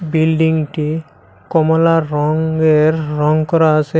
বিল্ডিংটি কমলা রঙ্গের রঙ করা আছে।